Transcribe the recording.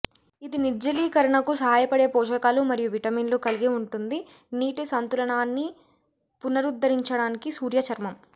ఇది నిర్జలీకరణకు సహాయపడే పోషకాలు మరియు విటమిన్లు కలిగి ఉంటుంది నీటి సంతులనాన్ని పునరుద్ధరించడానికి సూర్య చర్మం